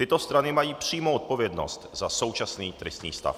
Tyto strany mají přímou odpovědnost za současný tristní stav.